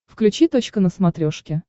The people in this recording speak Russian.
включи точка на смотрешке